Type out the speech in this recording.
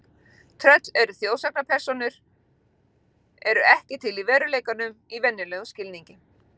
Tröll eru þjóðsagnapersónur eru ekki til í veruleikanum í venjulegum skilningi.